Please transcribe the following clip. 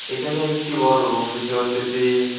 এখানে একটি বড় রুম দেখতে পারতেছি।